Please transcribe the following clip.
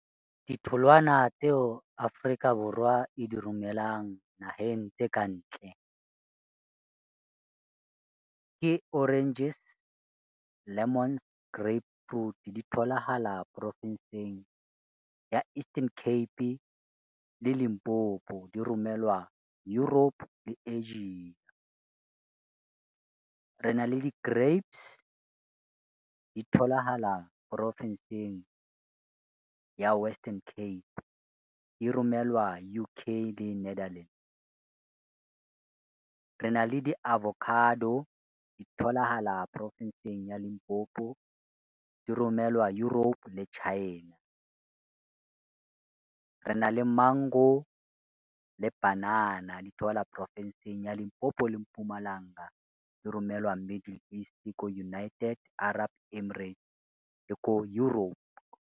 Ditholwana tseo Afrika Borwa e di romelang naheng tse kantle ke oranges, lemons, . Di tholahala porofenseng ya Eastern Cape le Limpopo di romelwa Europe le Asia. Rena le di-grapes, di tholahala ya Western Cape. Di romelwa U_K le Netherlands. Rena le di-avocado, di tholahala porofenseng ya Limpopo di romelwa Europe le China. Rena le mango le panana, di porofenseng ya Limpopo le Mpumalanga. Di romelwa Middle East ko United Arab Emirates e ko Europe.